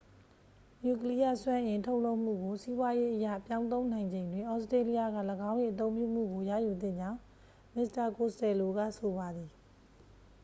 နျူကလီးယား စွမ်းအင် ထုတ်လုပ်မှုကို စီးပွားရေးအရ ပြောင်းသုံးနိုင်ချိန်တွင် သြစတြေးလျက ၎င်း၏ အသုံးပြုမှုကို ရယူသင့်ကြောင်း မစ္စတာ ကိုစတယ်လိုက ဆိုပါသည်